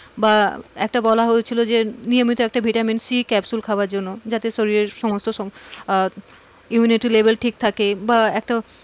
বা একটা বলা হয়েছিল যে নিয়মিত একটা ভিটামিন সি ক্যাপসুল খাওয়ার জন্য যাতে শরীরের সমস্ত সব আহ immunity level ঠিক থাকে বা একটা,